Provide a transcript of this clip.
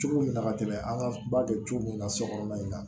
Cogo min na ka tɛmɛ an ka ba bɛ cogo min na sokɔnɔ in na